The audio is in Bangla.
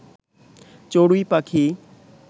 চড়ুই পাখি